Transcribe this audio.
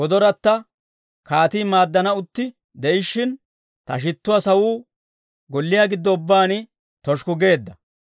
Kaatii maaddan utti de'ishshin, ta shittuwaa sawuu golliyaa giddo ubbaan toshukku geedda.